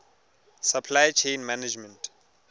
supply chain management